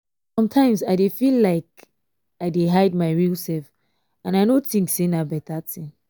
sometimes i dey feel like i dey hide my real self and i no think sey na better thing